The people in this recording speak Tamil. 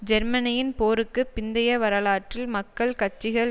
ஜெர்மனியின் போருக்கு பிந்தைய வரலாற்றில் மக்கள் கட்சிகள்